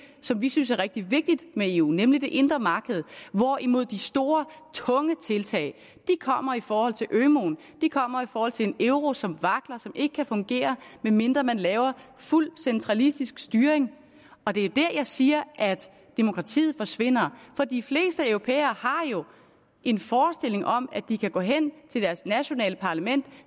som vi synes er rigtig vigtigt med eu nemlig det indre marked hvorimod de store tunge tiltag kommer i forhold til ømuen de kommer i forhold til en euro som vakler og som ikke kan fungere medmindre man laver fuld centralistisk styring og det er der jeg siger at demokratiet forsvinder for de fleste europæere har jo en forestilling om at de kan gå hen til deres nationale parlament